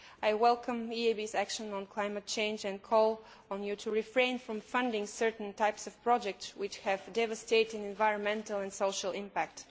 I welcome the EIB's action on climate change and call on it to refrain from funding certain types of projects which have devastating environmental and social impacts.